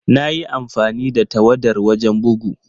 Na yi amfani da tawadar wajen bugu.